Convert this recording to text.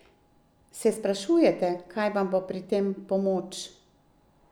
Se sprašujete, kaj vam bo pri tem v pomoč?